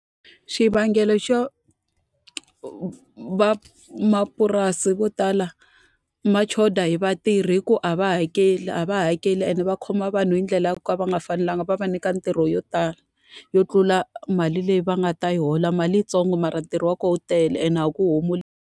Xivangelo xo van'wamapurasi vo tala va xotha hi vatirhi i ku a va hakeli, a va hakeli and va khoma vanhu hi ndlela ya ku ka va nga fanelanga. Va va nyika ntirho yo tala yo tlula mali leyi va nga ta yi hola, mali i yi ntsongo mara ntirho wa kona wu tele ende a ku .